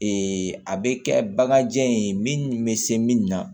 a bɛ kɛ baganjan in bɛ se min na